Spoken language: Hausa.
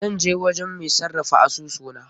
Zan je gurin mai sarrafa asusu na.